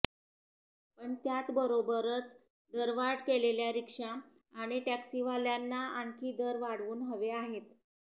पण त्याचबरोबरच दरवाढ केलेल्या रिक्षा आणि टॅक्सीवाल्यांना आणखी दर वाढवून हवे आहेत